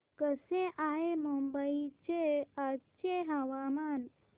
कसे आहे मुंबई चे आजचे हवामान